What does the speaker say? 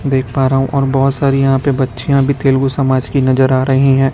देख पा रहा हुं और बहोत सारी यहां पे बच्चियां भी तेलगु समाज की नजर आ रहीं हैं।